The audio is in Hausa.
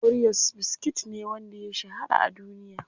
Oreos biskit ne wanda ya shahara a duniya.